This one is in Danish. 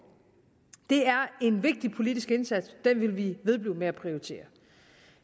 det er en vigtig politisk indsats den vil vi ved med at prioritere